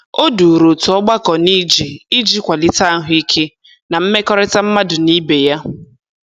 O duru otu ọgbakọ n'ije iji kwalite ahụike na mmekọrịta mmadụ na ibe ya.